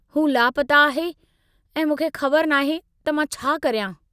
हू लापता आहे ऐं मूंखे ख़बर नाहे त मां छा करियां।